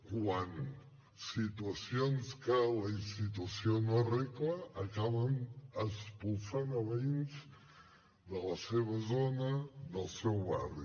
quan situacions que la institució no arregla acaben expulsant veïns de la seva zona del seu barri